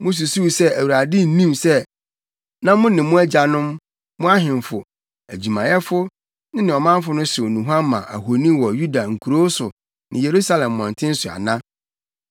“Mususuw sɛ, Awurade nnim sɛ, na mo ne mo agyanom, mo ahemfo, adwumayɛfo ne ɔmanfo no hyew nnuhuam ma ahoni wɔ Yuda nkurow so ne Yerusalem mmɔnten so ana?